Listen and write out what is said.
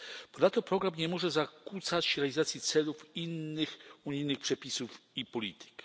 Ponadto program nie może zakłócać realizacji celów innych unijnych przepisów i polityk.